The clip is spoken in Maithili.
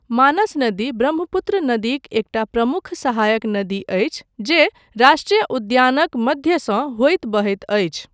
मानस नदी ब्रह्मपुत्र नदीक एकटा प्रमुख सहायक नदी अछि, जे राष्ट्रीय उद्यानक मध्यसँ होइत बहैत अछि।